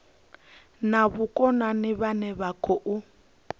na vhukoni vhane vha khou